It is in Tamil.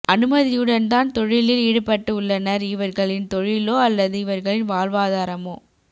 அனுமதியுடன் தான் தொழிலில் ஈடுபட்டு உள்ளனர் இவர்களின் தொழிலோ அல்லது இவர்களின் வாழ்வாதாரமோ